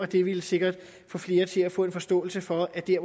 det ville sikkert få flere til at få en forståelse for at der